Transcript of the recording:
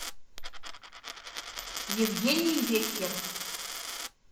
евгений веккер